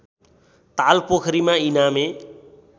ताल पोखरीमा इनामे